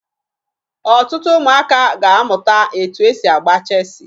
Ọtụtụ ụmụaka ga-amụta etu e si agba cheesi